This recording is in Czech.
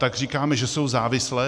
Tak říkáme, že jsou závislé?